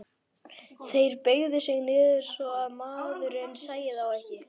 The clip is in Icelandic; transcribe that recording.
Þeir beygðu sig niður svo að maðurinn sæi þá ekki.